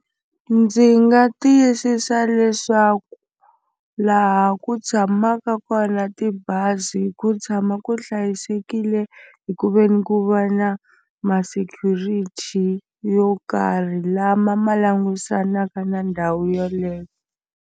Ndzi nga tiyisisa leswaku laha ku tshamaka kona tibazi ku tshama ku hlayisekile hi ku veni ku va na ma security yo karhi lama ma langusanaka na ndhawu yeleyo.